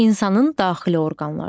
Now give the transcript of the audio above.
İnsanın daxili orqanları.